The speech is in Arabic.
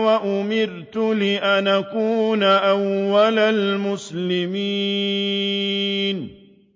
وَأُمِرْتُ لِأَنْ أَكُونَ أَوَّلَ الْمُسْلِمِينَ